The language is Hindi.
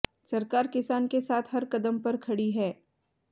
सरकार किसान के साथ हर कदम पर खड़ी है